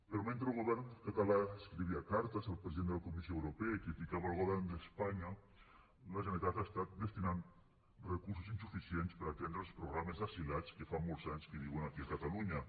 però mentre el govern català escrivia cartes al president de la comissió europea i criticava el govern d’espanya la generalitat ha estat destinant recursos insuficients per atendre els programes d’asilats que fa molts anys que viuen aquí a catalunya